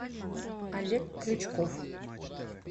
олег крючков